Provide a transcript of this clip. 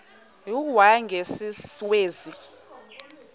u y njengesiwezi